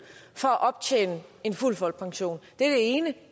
for at optjene en fuld folkepension det er det ene